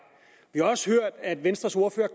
vi har også hørt at venstres ordfører